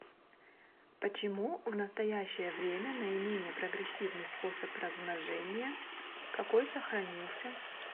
почему в настоящее время наименее прогрессивный способ размножения какой сохранился